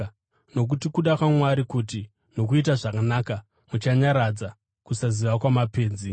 Nokuti kuda kwaMwari kuti, nokuita zvakanaka, muchanyaradza kusaziva kwamapenzi.